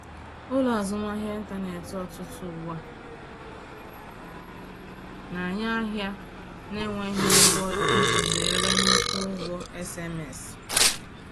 Ụlọ azụmahịa ịntanetị ọtụtụ ugbu a na-enye ahịa na-enweghị ụgwọ iji zere nnukwu ụgwọ SMS